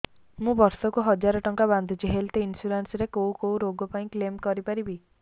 ମୁଁ ବର୍ଷ କୁ ହଜାର ଟଙ୍କା ବାନ୍ଧୁଛି ହେଲ୍ଥ ଇନ୍ସୁରାନ୍ସ ରେ କୋଉ କୋଉ ରୋଗ ପାଇଁ କ୍ଳେମ କରିପାରିବି